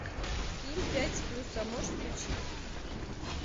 ким пять с плюсом можешь включить